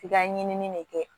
F'i ka ɲinini de kɛ